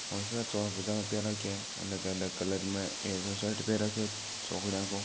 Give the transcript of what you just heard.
ऐ सा चोला पजामा पहर राख्या है अलग अलग कलर में एक शर्ट पहर राख्यो है चौकडिया काे।